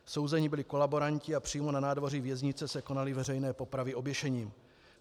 Souzeni byli kolaboranti a přímo na nádvoří věznice se konaly veřejné popravy oběšením.